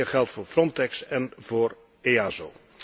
Meer geld voor Frontex en voor EASO.